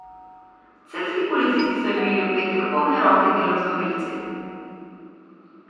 Celjski policisti so imeli v petek polne roke dela z vlomilci.